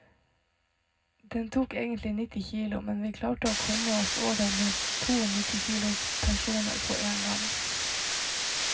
Den tok egentlig nitti kilo, men vi klarte å komme oss over med to nitti kilos personer på én gang.